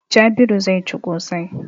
Jabiru zai ci ƙosai.